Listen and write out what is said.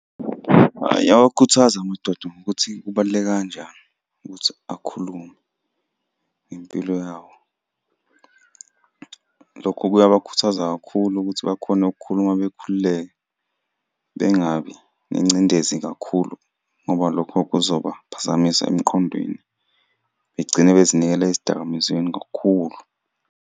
Hhayi, iyawakhuthaza amadoda ngokuthi kubaluleke kanjani ukuthi akhulume impilo yabo. Lokho kuyabakhuthaza kakhulu ukuthi bakhone ukukhuluma bekhululeke, bengabi nengcindezi kakhulu ngoba lokho kuzobaphazamisa emqondweni begcine bezinikela ezidakamizweni kakhulu.